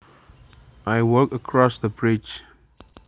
I walked across the bridge